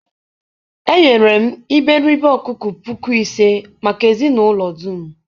eghere m iberibe ọkụkọ puku isii maka ezinụlọ dum.